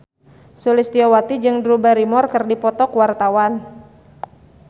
Sulistyowati jeung Drew Barrymore keur dipoto ku wartawan